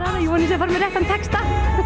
fara með réttan texta